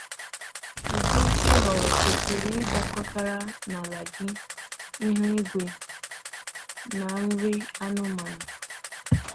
Ụdị ị họrọ kwesịrị ịdakọtara na ala gị, ihu igwe, na nri anụmanụ.